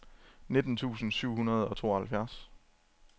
nitten tusind syv hundrede og tooghalvfjerds